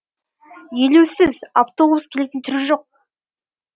елеусіз автобус келетін түрі жоқ